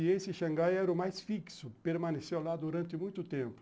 E esse Xangai era o mais fixo, permaneceu lá durante muito tempo.